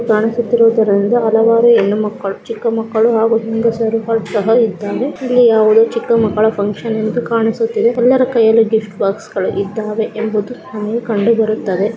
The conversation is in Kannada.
ಕಾಣಿಸುತ್ತಿರುವುದನ್ನು ಹಲವಾರು ಹೆಣ್ಣು ಮಕ್ಕಳು ಚಿಕ್ಕ ಮಕ್ಕಳು ಹಾಗು ಹೆಂಗಸರು ಸಹ ಇದ್ದಾರೆ ಇಲ್ಲಿ ಯಾವುದೇ ಚಿಕ್ಕ ಮಕ್ಕಳ ಫನ್ಕ್ಷನ್ ಎಂತು ಕಾಣಿಸುತ್ತಿದೆ ಎಲ್ಲರ ಕೈಯಲ್ಲಿಯೂ ಗಿಫ್ಟ್ ಬಾಕ್ಸ್ ಗಳು ಇದ್ದಾವೆ ಎಂಬುದು ನಮಗೆ ಕಂಡು ಬರುತ್ತದೆ.